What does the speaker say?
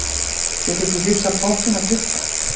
Getur þú hrifsað pottinn af Tryggva?